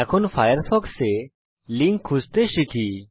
এখন ফায়ারফক্সে লিঙ্ক খুঁজতে শিখি